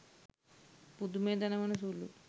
පුදුමය දනවන සුළුයි.